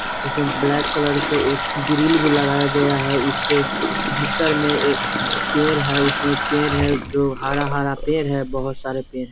उसमें black colour के एक ग्रिल भी लगाया गया है उसके भीतर में ए पेड़ है उसमें पेड़ है जो हरा-हरा पेड़ हैं बहुत सारे पेड़ है।